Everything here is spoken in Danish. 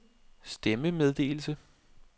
stemmemeddelelse